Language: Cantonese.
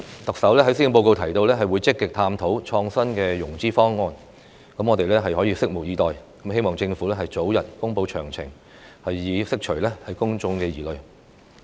特首在施政報告中提到會積極探討創新的融資方案，我們拭目以待，並希望政府早日公布詳情，以釋除公眾疑慮。